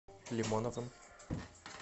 лимоновым